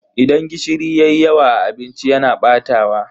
Idan gishiri yayi yawa a abinci yana batawa.